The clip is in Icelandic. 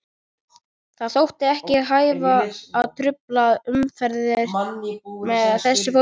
Það þótti ekki hæfa að trufla umhverfið með þessu fólki.